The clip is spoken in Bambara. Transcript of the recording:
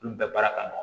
Olu bɛɛ baara ka nɔgɔn